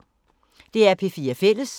DR P4 Fælles